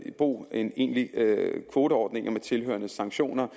i brug end egentlige kvoteordninger med tilhørende sanktioner